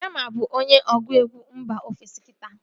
Reema bụ onye ọgụegwu mba ofesi kita